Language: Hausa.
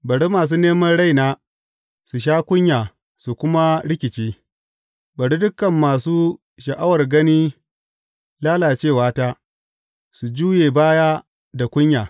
Bari masu neman raina su sha kunya su kuma rikice; bari dukan masu sha’awar gani lalacewata su juye baya da kunya.